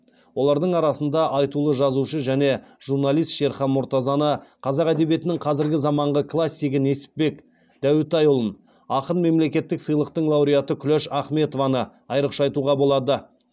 олардың арасында айтулы жазушы және журналист шерхан мұртазаны қазақ әдебиетінің қазіргі заманғы классигі несіпбек дәутайұлын ақын мемлекеттік сыйлықтың лауреаты күләш ахметованы айрықша атауға болады